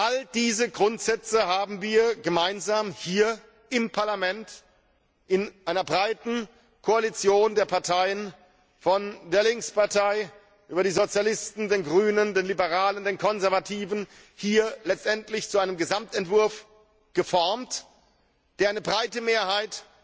All diese Grundsätze haben wir hier im Parlament in einer breiten Koalition der Parteien, von der Linkspartei über die Sozialisten, die Grünen, die Liberalen, die Konservativen, gemeinsam zu einem Gesamtentwurf geformt, der eine breite Mehrheit